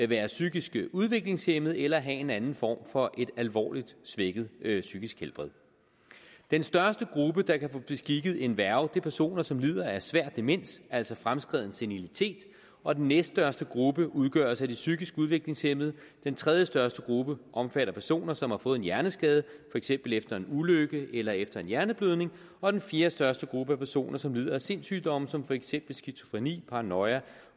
være psykisk udviklingshæmmet eller have en anden form for et alvorligt svækket psykisk helbred den største gruppe der kan få beskikket en værge er personer som lider af svær demens altså fremskreden senilitet og den næststørste gruppe udgøres af de psykisk udviklingshæmmede den tredjestørste gruppe omfatter personer som har fået en hjerneskade for eksempel efter en ulykke eller efter en hjerneblødning og den fjerdestørste gruppe er personer som lider af sindssygdomme som for eksempel skizofreni paranoia